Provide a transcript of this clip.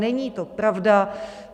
Není to pravda.